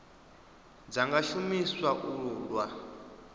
dza nga shumiswa u lwa